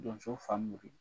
Donso Famori